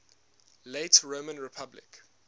late roman republic